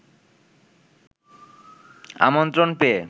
আমন্ত্রণ পেয়ে